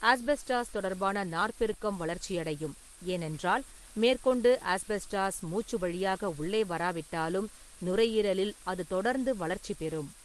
Asbestos தொடர்பான நார்ப்பெருக்கம் வளர்ச்சியடையும், ஏனென்றால் மேற்கொண்டு ஆஸ்பெஸ்டாஸ் மூச்சு வழியாக உள்ளே வராவிட்டாலும் நுரையீரலில் அது தொடர்ந்து வளர்ச்சிபெறும்.